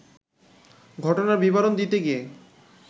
ঘটনার বিবরণ দিতে গিয়ে